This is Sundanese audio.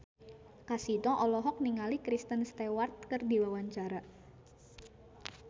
Kasino olohok ningali Kristen Stewart keur diwawancara